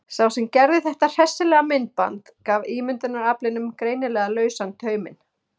Sá sem gerði þetta hressilega myndband gaf ímyndunaraflinu greinilega lausan tauminn.